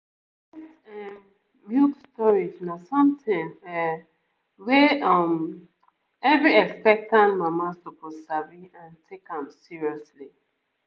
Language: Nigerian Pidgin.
breast ehm milk storage na something um wey um every expectant mama suppose sabi and take am seriously